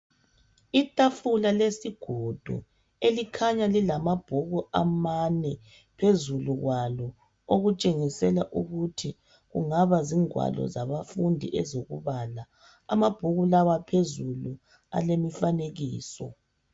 Itafula lezigodo elikhanya lilamabhuku amane phezukwalo okutshengisela ukuthi angabe engamabuku okubala phezu kwamabhuku lawa phezulu alemifanekiso.